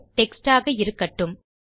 text ஆக இருக்கட்டும்